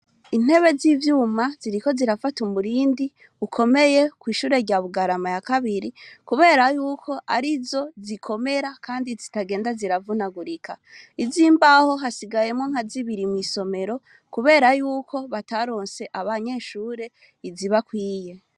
Intebe z'ivyuma ziriko zirafata umurindi ukomeye kw'ishure rya Bugarama ya kabiri kubera yuko arizo zikomera Kandi zitagenda ziravunagurika ,iz'imbaho hasigayemwo nka zibiri mw'isomero kubera yuko bataronse abanyeshure izibakwiye.